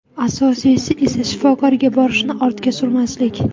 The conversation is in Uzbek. Asosiysi esa shifokorga borishni ortga surmaslik.